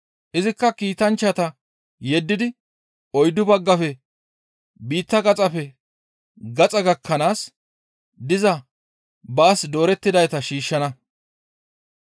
Izikka kiitanchchata yeddidi oyddu baggafe biitta gaxappe gaxa gakkanaas diza baas doorettidayta shiishshana.